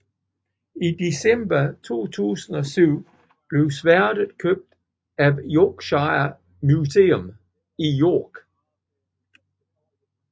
I december 2007 blev sværdet købt af Yorkshire Museum i York